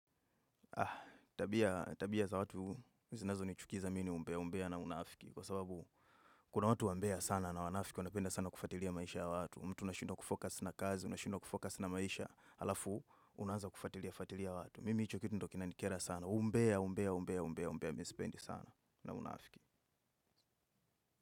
Ah, tabia za watu, zizinazonichukiza mi ni umbea na unaafiki. Kwa sababu kuna watu wambea sana na wanafiki, wanapenda sana kufuatilia maisha ya watu. Mtu unashindwa kufocus na kazi, unashindwa kufocus na maisha. Alafu, unaanza kufuatilia, fuatilia watu. Mimi hicho kitu ndo kinanikera sana, umbea, umbea, umbea, umbea, umbea, mi sipendi sana na unafiki.